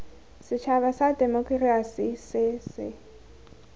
setšhaba sa temokerasi se se